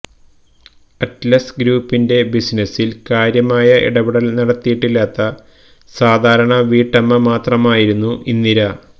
Atlas ഗ്രൂപ്പിന്റെ ബിസിനസിൽ കാര്യമായ ഇടപെടൽ നടത്തിയിട്ടില്ലാത്ത സാധാരണ വീട്ടമ്മ മാത്രമായിരുന്നു ഇന്ദിര